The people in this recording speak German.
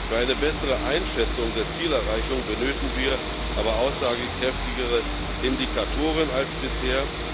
Für eine bessere Einschätzung der Zielerreichung benötigen wir aber aussagekräftigere Indikatoren als bisher.